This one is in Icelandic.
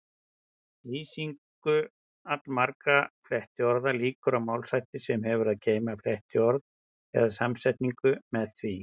Lýsingu allmargra flettiorða lýkur á málshætti sem hefur að geyma flettiorðið eða samsetningu með því.